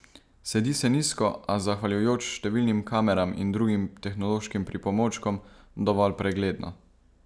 Sedi se nizko, a zahvaljujoč številnim kameram in drugim tehnološkim pripomočkom dovolj pregledno.